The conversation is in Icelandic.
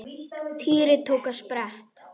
Týri tók á sprett.